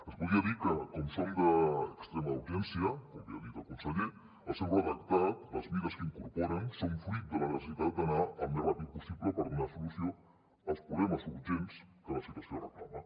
es podria dir que com que són d’extrema urgència com bé ha dit el conseller el seu redactat les mesures que hi incorporen són fruit de la necessitat d’anar al més ràpid possible per donar solució als problemes urgents que la situació reclama